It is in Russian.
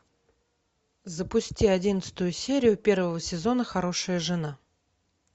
запусти одиннадцатую серию первого сезона хорошая жена